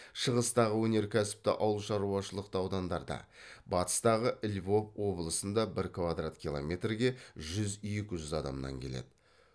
шығыстағы өнеркәсіпті ауыл шаруашылықты аудандарда батыстағы львов облысында бір квадрат километрге жүз екі жүз адамнан келеді